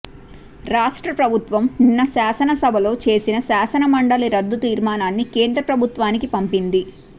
రాష్ట్ర ప్రభుత్వం నిన్న శాసనసభలో చేసిన శాసనమండలి రద్దు తీర్మానాన్ని కేంద్రప్రభుత్వానికి పంపింది